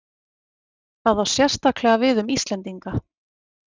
Það á sérstaklega við um Íslendinga